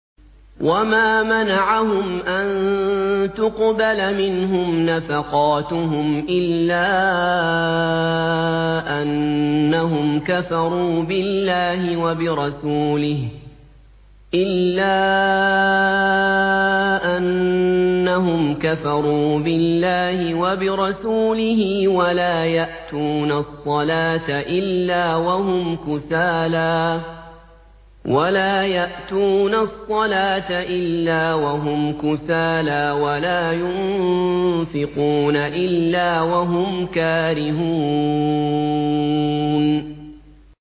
وَمَا مَنَعَهُمْ أَن تُقْبَلَ مِنْهُمْ نَفَقَاتُهُمْ إِلَّا أَنَّهُمْ كَفَرُوا بِاللَّهِ وَبِرَسُولِهِ وَلَا يَأْتُونَ الصَّلَاةَ إِلَّا وَهُمْ كُسَالَىٰ وَلَا يُنفِقُونَ إِلَّا وَهُمْ كَارِهُونَ